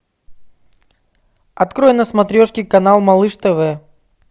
открой на смотрешке канал малыш тв